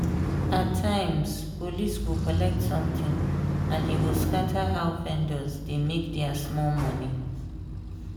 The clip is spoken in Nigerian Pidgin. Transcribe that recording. at times police go collect something and e go scatter how vendors dey make their small money.